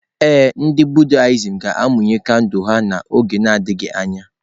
Ee, ndị Buddhist ga-amụnye kandụl ha n'oge na-adịghị anya.